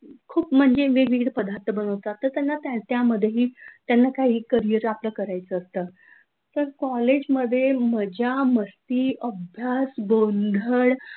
खूप वेळ पदार्थ बनवतात तर त्यांना त्यामध्ये ही त्यांना काय करिअर आपलं करायचं असतं! तर कॉलेजमध्ये मज्जा, मस्ती, अभ्यास, गोंधळ,